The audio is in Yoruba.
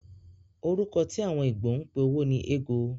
Orúkọ tí àwọn Igbo ń pe owó ni ego.